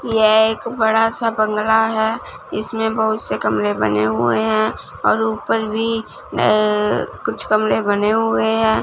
यह एक बड़ा सा बंगला है इसमें बहोत से कमरे बने हुए है और ऊपर भी अह कुछ कमरे बने हुए है।